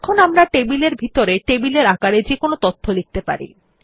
এখন আমরা টেবিল এর ভিতরে টেবিলের আকারে যেকোনো তথ্য লিখতে পারি